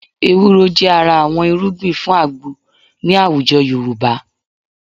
Ewúro jẹ́ ara àwọn irúgbìn fún àgbo ní àwùjọ Yorùbá